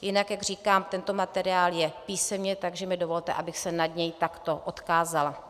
Jinak, jak říkám, tento materiál je písemně, takže mi dovolte, abych se nad něj takto odkázala.